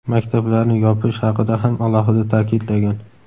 maktablarni yopish haqida ham alohida ta’kidlagan.